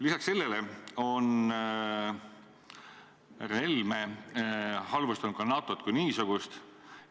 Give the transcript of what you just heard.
Lisaks sellele on härra Helme halvustanud ka NATO-t kui niisugust.